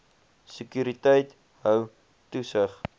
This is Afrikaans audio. sekuriteit hou toesig